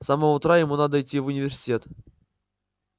с самого утра ему надо идти в университет